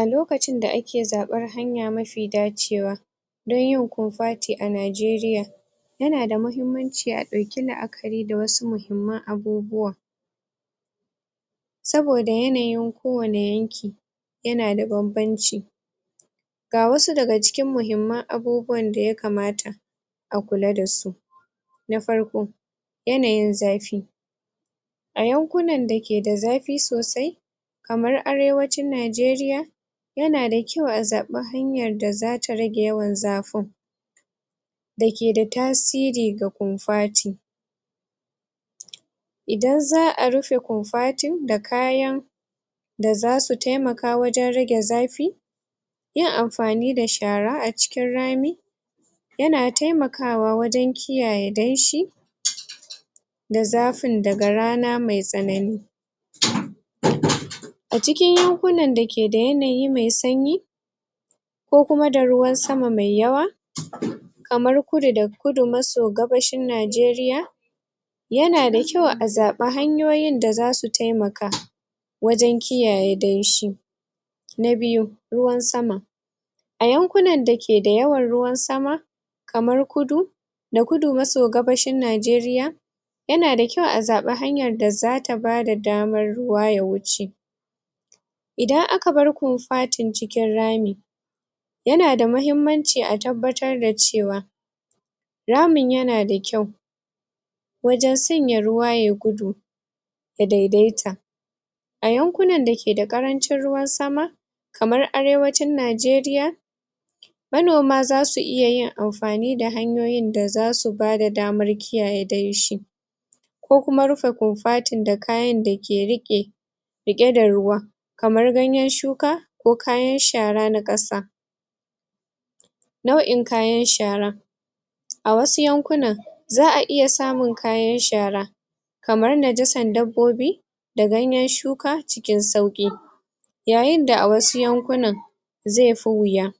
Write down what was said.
A lokacin da ake zaɓar hanya mafi dacewa dan yin kofati a Najeriya yana da mahimmanci a ɗauki la'akari da wasu muhimman abubuwa saboda yanayin ko wane yanki yana da banbanci ga wasu daga cikin muhimman abubuwan da yakamata a kula da su na farko, yanayin zafi a yankunan da ke da zafi sosai kamar Arewacin Najeriya yana da kyau a zaɓa hanyar da zata rage yawan zafin da ke da tasiri ga kofati idan za'a rufe kofatin da kayan da zasu taimaka wajen rage zafi yin amfani da shara a cikin rani yana taimakawa wajen kiyaye danshi da zafin daga rana me tsanani a cikin yankunan da ke da yanayi me sanyi ko kuma da ruwan sama mai yawa kamar Kudu da Kudu maso Gabashin Najeriya yana da kyau a zaɓa hanyoyin da zasu taimaka wajen kiyaye danshi na biyu, ruwan sama a yankunan da ke da yawan ruwan sama kamar Kudu da Kudu maso Gabashin Najeriya yana da kyau a zaɓa hanyar da zata bada damar ruwa ya wuce idan aka bar kofatin cikin rami yana da mahimmanci a tabbatar da cewa ramin yana da kyau wajen sanya ruwa yayi gudu ya daidaita a yankunan da ke da ƙarancin ruwan sama kamar Arewacin Najeriya manoma zasu iya yin amfani da hanyoyin da zasu bada damar kiyaye danshi ko kuma rufe kofatin da kayan da ke riƙe riƙe da ruwan kamar ganyen shuka ko kayan shara na ƙasa nau'in kayan shara a wasu yankunan za'a iya samun kayan shara kamar najasar dabbobi da ganyen shuka cikin sauƙi yayin da a wasu yankunan ze fi wuya